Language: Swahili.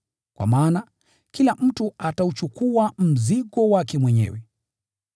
Kwa maana, kila mtu atauchukua mzigo wake mwenyewe.